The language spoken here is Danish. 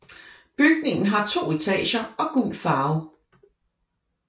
Byggningen har to etager og gul farve